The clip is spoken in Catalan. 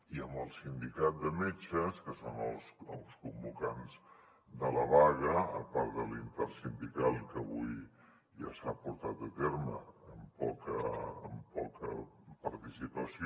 i amb el sindicat de metges que són els convocants de la vaga a part de la intersindical que avui ja s’ha portat a terme amb poca participació